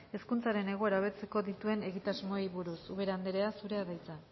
hezkuntzaren egoera hobetzeko dituen egitasmoei buruz ubera anderea zurea da hitza